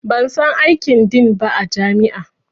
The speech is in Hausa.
Ban san aikin Din ba a jami'a